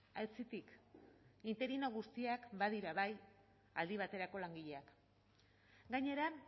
aitzitik interino guztiak badira bai aldi baterako langileak gainera